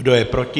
Kdo je proti?